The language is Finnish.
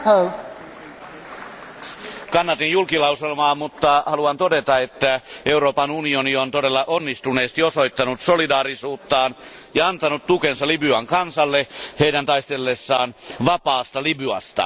Arvoisa puhemies, kannatin päätöslauselmaa, mutta haluan todeta, että Euroopan unioni on todella onnistuneesti osoittanut solidaarisuuttaan ja antanut tukensa Libyan kansalle heidän taistellessaan vapaasta Libyasta.